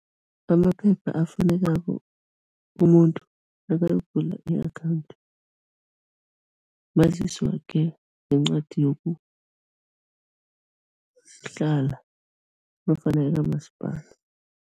Amaphepha afunekako umuntu nakayokuvula i-akhawundi, mazisi wakhe nencwadi yokuhlala nofana yakamasipala.